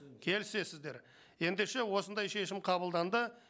келісесіздер ендеше осындай шешім қабылданды